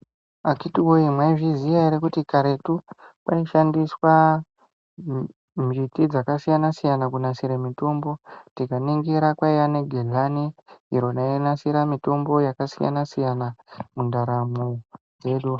Akiti woye maizviziya ere kuti karetu kwaishandiswa miri dzakasiyana siyana kunasire mitombo. Tikaningira gedhlani iro rainasire mitombo yakasiyana siyana mundaramo dzedu.